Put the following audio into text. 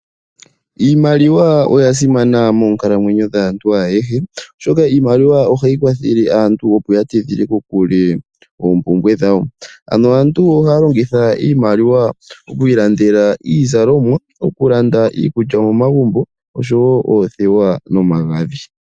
Iimaliwa oya simana monkalamwenyo dhaantu ayehe, oshoka iimaliwa ohayi kwathele aantu, opo ya tidhile kokule oompumbwe dhawo. Ano aantu ohaya longitha iimaliwa oku ilandela iizalomwa, oku landa iikulya momagumbo oshowo oothewa nomagadhi.